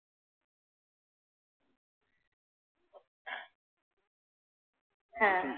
হ্যাঁ।